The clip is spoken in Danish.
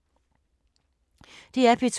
DR P2